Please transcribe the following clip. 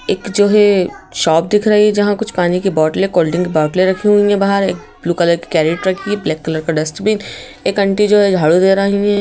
एक जो है शॉप दिख रही है जहां कुछ पानी की बॉटले कोल्ड ड्रिंक की बोटले रखी हुई हैं बाहर एक ब्लू कलर की कैरेट रखी है ब्लैक कलर की डस्टबिन एक आंटी जो है झाड़ू हैं।